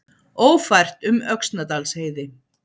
Ófært um Öxnadalsheiði